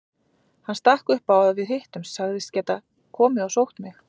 Hann stakk upp á að við hittumst, sagðist geta komið og sótt mig.